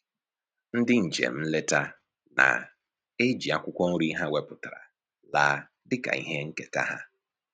Ndị njem nleta na-eji akwụkwọ nri ha wepụtara laa dịka ihe nketa ha